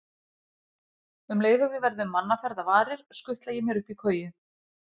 Um leið og við verðum mannaferða varir, skutla ég mér upp í koju.